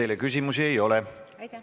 Teile küsimusi ei ole.